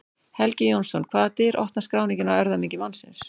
Helgi Jónsson Hvaða dyr opnar skráningin á erfðamengi mannsins?